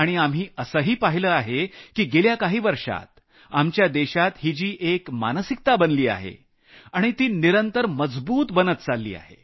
आम्ही असंही पाहिलं आहे की गेल्या काही वर्षांत आमच्या देशात ही जी एक मानसिकता बनली आहे आणि ती निरंतर मजबूत बनत चालली आहे